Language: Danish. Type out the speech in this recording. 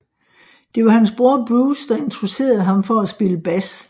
Det var hans bror Bruce der introducerede ham for at spille bas